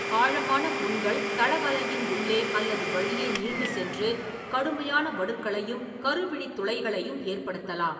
ஆழமான புண்கள் தளவலையின் உள்ளே அல்லது வழியே நீண்டுசென்று கடுமையான வடுக்களையும் கருவிழித் துளைகளையும் ஏற்படுத்தலாம்.